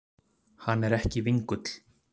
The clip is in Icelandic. Hann er ekki vingull.